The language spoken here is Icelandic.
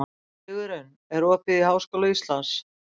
Sigurunn, er opið í Háskóla Íslands?